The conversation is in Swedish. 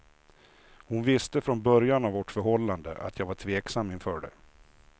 Hon visste från början av vårt förhållande att jag var tveksam inför det.